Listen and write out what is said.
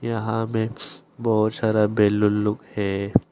यहां में बहुत सारा बैलून लोग है।